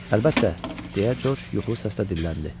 Əlbəttə, deyə Corc yuxulu səslə dilləndi.